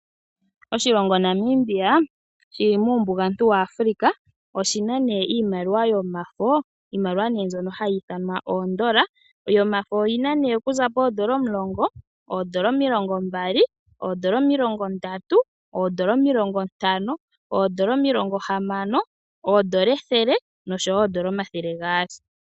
Oshilongo namibia shili muumbugantu waAfrica oshina ne iimaliwa yoomafo, iimaliwa ne mbyoka hayiithanwa oodola dhaNamibia yoomafo oyina ne okuza poN$10, N$20, N$30, N$50, N$60, N$100, N$200.